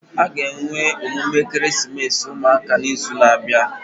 Aga enwe emume ekeresimesi ụmụaka na izu na abịa